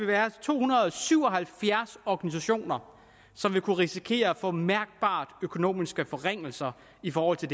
være to hundrede og syv og halvfjerds organisationer som vil kunne risikere at få mærkbare økonomiske forringelser i forhold til